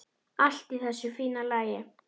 Allt í þessu fína lagi.